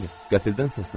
Qəfildən səsləndim.